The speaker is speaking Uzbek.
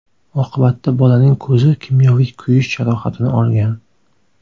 Oqibatda bolaning ko‘zi kimyoviy kuyish jarohatini olgan.